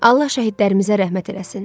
Allah şəhidlərimizə rəhmət eləsin.